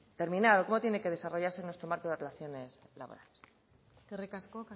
terminar o como tiene que desarrollarse nuestro marco de relaciones laborales eskerrik asko